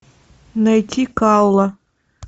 найти калла